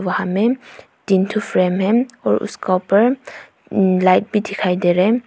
वहां में तीन ठो फ्रेम हैं और उसके ऊपर लाइट भी दिखाई दे रहा है।